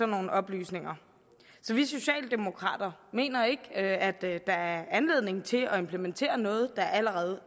nogle oplysninger så vi socialdemokrater mener ikke at der er anledning til at implementere noget der allerede